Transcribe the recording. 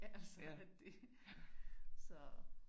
Altså at det så